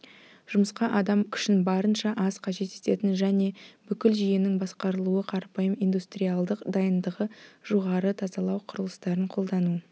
жұмысқа адам күшін барынша аз қажет ететін және бүкіл жүйенің басқарылуы қарапайым индустриалдық дайындығы жоғары тазалау құрылыстарын қолдану